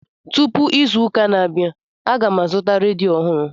Tụpụ izu ụka na-abịa, aga m azụta redio ọhụrụ